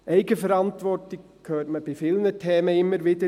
«Eigenverantwortung» hört man bei vielen Themen immer wieder.